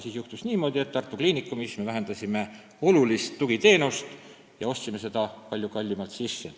Siis juhtus niimoodi, et Tartu Ülikooli Kliinikumis vähendati olulise tugiteenuse osutamist ja hakati seda palju kallimalt sisse ostma.